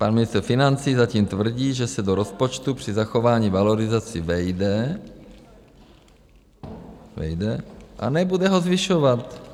Pan ministr financí zatím tvrdí, že se do rozpočtu při zachování valorizací vejde a nebude ho zvyšovat.